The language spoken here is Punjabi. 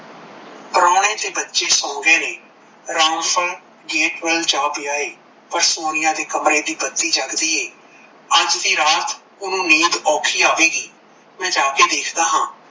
ਪਰੋਣੇ ਤੇ ਬੱਚੇ ਸੋ ਗਏ ਨੇ ਰਾਮਪਾਲ gate ਵੱਲ ਸੋ ਪਿਆ ਏ ਪਰ ਸੋਨੀਆ ਦੇ ਕਮਰੇ ਦੀ ਬੱਤੀ ਜਗਦੀ ਏ ਅੱਜ ਦੀ ਰਾਤ ਓਨੁ ਨੀਂਦ ਓਕਹਿ ਆਵੇਗੀ ਮੈ ਜਾਕੇ ਦੇਖਦਾ ਹਾਂ,